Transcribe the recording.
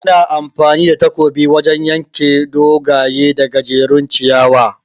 Ana amfani da takobi wajan yanke dogaye da gajejjerun ciyawa